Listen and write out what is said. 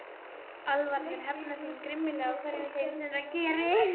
Álfarnir hefni sín grimmilega á hverjum þeim sem það geri.